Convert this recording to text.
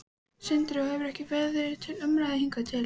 Sindri: Og hefur ekki verið til umræðu hingað til?